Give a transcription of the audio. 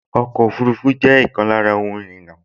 Ọkọ̀ ọfurufú jẹ́ ọ̀kan lára ohun ìrìnnà